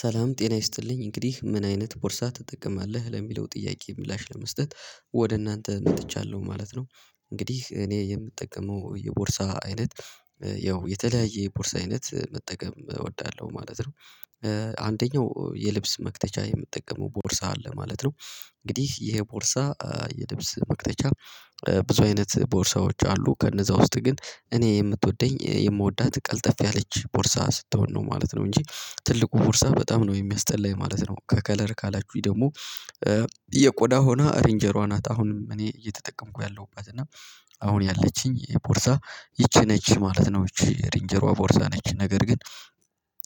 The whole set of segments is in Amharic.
ሰላም ጤና ይስጥልኝ እንግዲህ ምን አይነት ቦርሳ ትጠቀማለህ? ለሚለው ጥያቄ ምላሽ ለመስጠት ወደ እናንተ መጥቻለሁ ማለት ነው እንግዲህ እኔ የምጠቀመው የቦርሳ አይነት ያው የተለያየ የቦርሳ አይነት መጠቀም እወዳለሁ ማለት ነው። አንደኛው የልብስ መክተቻ የምጠቀመው ቦርሳ አለ ማለት ነው። እንግዲህ ይሄ ቦርሳ የልብስ መክተቻ ብዙ አይነት ቦርሳዎች አሉ ከነዛ ውስጥ ግን እኔ የምትወደኝ የምወዳት ቀልጠፍ ያለች ቦርሳ ስትሆን ነው ማለት ነው እንጂ ትልቁ ቦርሳ በጣም ነው የሚያስጠላኝ ማለት ነው ከከለር ካላችሁኝ ደግሞ የቆዳ ሆና ሬንጄሯ ናት አሁንም እኔ እየተጠቀምኩ ያለሁበት እና አሁን ያለችኝ የቦርሳ ይቺ ነች ማለት ነው ይቺ ሬንጀሯ ቦርሳ ነች ነገር ግን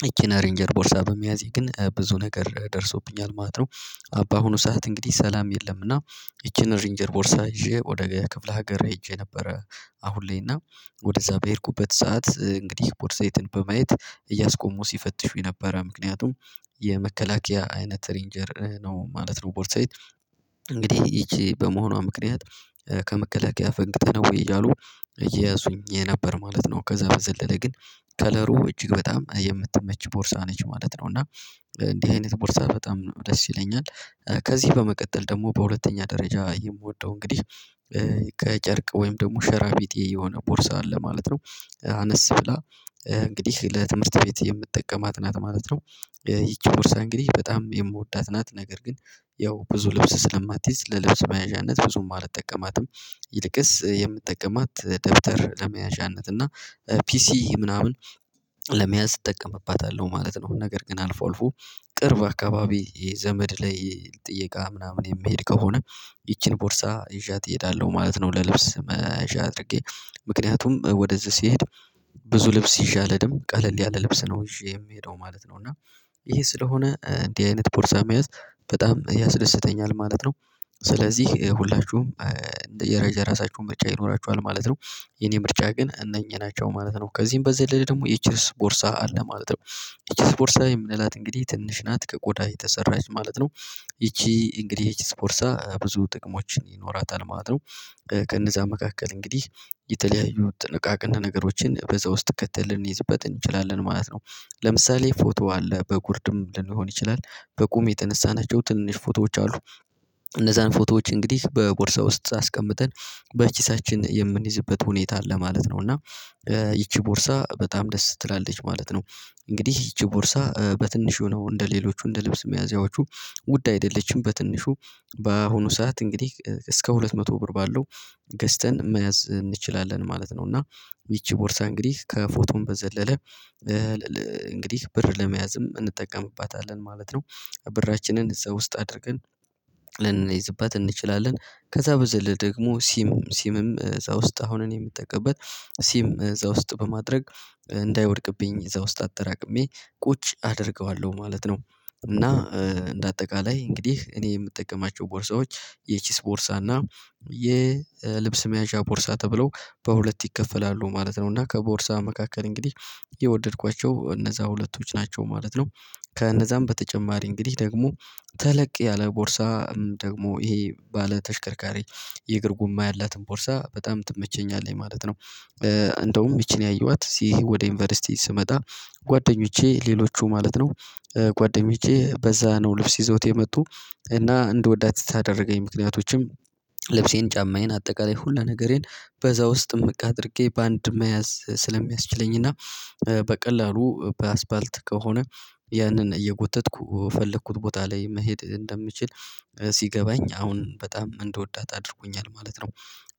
ይቺን ሬንጀር ቦርሳ በሚያዝህ ግን ብዙ ነገር ደርሶብኛል ማለት ነው። አባ ሆኖ ሰዓት እንግዲህ ሰላም የለምና ይቺን ሬንጀር ቦርሳ ይዤ ወደ ክፍለ ሀገር ሄጄ ነበረ አሁን ላይና ወደዛ በሄድኩበት ሰዓት እንግዲህ ፖሳታይትን በማየት እያስቆሙ ሲፈትሹ የነበረ ምክንያቱም የመከላከያ አይነት ሬንጀር ነው ማለት ነው ቦርሳዬ እንግዲህ ይቺ በመሆኗ ምክንያት ከመከላከያ ፈንግተነው እያሉ እየያዙኝ የነበር ማለት ነው። ከዛ በዘለለ ግን ከለሩ እጅግ በጣም የምትመች ቦርሳ ነች ማለት ነው እና እንዲህ አይነት ቦርሳ በጣም ደስ ይለኛል ከዚህ በመቀጠል ደግሞ በሁለተኛ ደረጃ የምወደው እንግዲህ ከጨርቅ ወይም ደግሞ ሸራ ቢጤ የሆነ ቦርሳ አለ ማለት ነው አነስ ብላ እንግዲህ ለትምህርት ቤት የምትጠቀማት ናት ማለት ነው። ይቺ ቦርሳ እንግዲህ በጣም የምወዳት ናት ነገር ግን ያው ብዙ ልብስ ስለማትይዝ ለልብስ መያዣነት ብዙም አልጠቀማትም ይልቅስ የምትጠቀማት ደብተር ለመያዣነት እና ፒሲ ምናምን ለመያዝ እጠቀምባታለሁ ማለት ነው ነገር ግን አልፎ አልፎ ቅርብ አካባቢ የዘመድ ላይ ጥየቃ ምናምን የምሄድ ከሆነ ይቺን ቦርሳ ይዣት እሄዳለሁ ማለት ነው ለልብስ መያዣ አድርጌ ምክንያቱም ወደዚህ ሲሄድ ብዙ ልብስ ይዤ አልሄድም ቀለል ያለ ልብስ ነው ይዤ የምሄደው ማለት ነው። እና ይሄ ስለሆነ እንዲህ አይነት ቦርሳ መያዝ በጣም ያስደስተኛል ማለት ነው። ስለዚህ ሁላችሁም እንደ የራይ የራሳችሁን ምርጫ ይኖራችኋል ማለት ነው። የኔ ምርጫ ግን እነኚህ ናቸው ማለት ነው ከዚህም በዘለለ ደግሞ ደግሞ የቼስ ቦርሳ አለ ማለት ነው የቼስ ቦርሳ የምንላት እንግዲህ ትንሽ ናት ከቆዳ የተሰራች ማለት ነው ይቺ እንግዲህ እቺ ፖርሳ ብዙ ጥቅሞችን ይኖራታል ማለት ነው። ከነዛ መካከል እንግዲህ የተለያዩ ጥንቃቄን ነገሮችን በዛ ውስጥ ከትል ልንይዝበት እንችላለን ማለት ነው። ለምሳሌ ፎቶ አለ በጉርድም ልንሆን ይችላል በቁም የተነሳናቸው ትንሽ ፎቶዎች አሉ እነዛን ፎቶዎች እንግዲህ በቦርሳው ውስጥ አስቀምጠን በቺሳችን የምንይዝበት ሁኔታ አለ ማለት ነው እና ይቺ ቦርሳ በጣም ደስ ትላለች ማለት ነው እንግዲህ ይቺ ቦርሳ በትንሽ የሆነው እንደሌሎቹ እንደልብስ መያዚያዎቹ ውድ አይደለችም በትንሹ በአሁኑ ሰዓት እንግዲህ እስከ ሁለት መቶ ብር ባለው ገዝተን መያዝ እንችላለን ማለት ነው እና ይቺ ቦርሳ እንግዲህ ከፎቶም በዘለለ እንግዲህ ብር ለመያዝም እንጠቀምባታለን ማለት ነው ብራችንን እዛ ውስጥ አድርገን ልንነይዝበት እንችላለን ከዛ በዘለ ደግሞ ሲም ሲምም እዛ ውስጥ አሁንም የምጠቀምበት ሲም እዛ ውስጥ በማድረግ እንዳይወድቅብኝ እዛ ውስጥ አጠራቅሜ ቁጭ አደርገዋለሁ ማለት ነው። እና እንደ አጠቃላይ እንግዲህ እኔ የምጠቀማቸው ቦርሳዎች የቺስ ቦርሳ እና የልብስ መያዣ ቦርሳ ተብለው በሁለት ይከፈላሉ ማለት ነው እና ከቦርሳ መካከል እንግዲህ የወደድኳቸው እነዛ ሁለቶች ናቸው ማለት ነው። ከእነዛም በተጨማሪ እንግዲህ ደግሞ ተለቅ ያለ ቦርሳ ደግሞ ይሄ ባለተሽከርካሪ የእግር ጉማ ያላትን ቦርሳ በጣም ትመቸኛለኝ ማለት ነው። እንደውም ይቺን ያየኋት ይሄ ወደ ዩኒቨርሲቲ ስመጣ ጓደኞቼ ሌሎቹ ማለት ነው ጓደኞቼ በዛ ነው ልብስ ይዘውት የመጡ እና እንድወዳት ታደረገኝ ምክንያቶችም ልብሴን ጫማዬን አጠቃላይ ሁሉ ነገሬን በዛ ውስጥ ምቅ አድርጌ በአንድ መያዝ ስለሚያስችለኝና በቀላሉ በአስፋልት ከሆነ ያንን እየጎተተኩ የፈለኩት ቦታ ላይ መሄድ እንደምችል ሲገባኝ አሁን በጣም እንደወዳት አድርጎኛል ማለት ነው።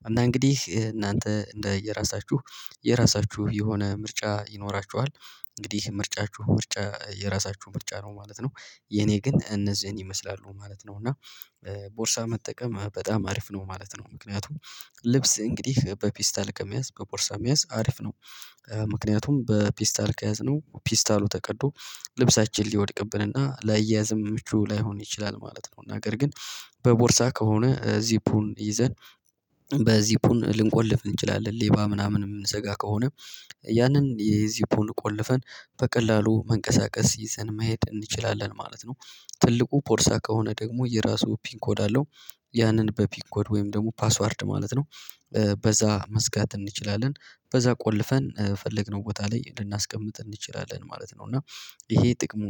እና እንግዲህ እናንተ እንደ የራሳችሁ የራሳችሁ የሆነ ምርጫ ይኖራችኋል እንግዲህ ምርጫችሁ ምርጫ የራሳችሁ ምርጫ ነው ማለት ነው የኔ ግን እነዚህን ይመስላሉ ማለት ነው እና ቦርሳ መጠቀም በጣም አሪፍ ነው ማለት ነው ምክንያቱም ልብስ እንግዲህ በፔስታል ከመያዝ በፖርሳ መያዝ አሪፍ ነው። ምክንያቱም በፒስታል ከያዝነው ፒስታሉ ተቀዶ ልብሳችን ሊወድቅብን እና ለአያየዘም ምቹ ላይሆን ይችላል ማለት ነው። ነገር ግን በቦርሳ ከሆነ ዚፑን ይዘን ዚፑን ልንቆልፍ እንችላለን ሌባ ምናምን የምንዘጋ ከሆነ ያንን የዚፑን ቆልፈን በቀላሉ መንቀሳቀስ ይዘን መሄድ እንችላለን ማለት ነው። ትልቁ ፖርሳ ከሆነ ደግሞ የራሱ ፒን ኮድ አለው። ያንን በፒን ኮድ ወይም ደግሞ ፓስዋርድ ማለት ነው በዛ መዝጋት እንችላለን በዛ ቆልፈን ፈለግነው ቦታ ላይ ልናስቀምጥ እንችላለን ማለት ነው እና ይሄ ጥቅሙ ነው።